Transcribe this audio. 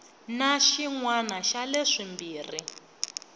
na xin wana xa leswimbirhi